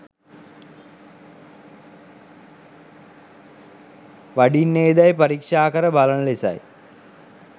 වඩින්නේදැයි පරීක්‍ෂා කර බලන ලෙසයි.